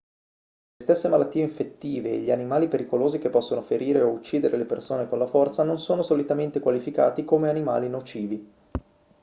le stesse malattie infettive e gli animali pericolosi che possono ferire o uccidere le persone con la forza non sono solitamente qualificati come animali nocivi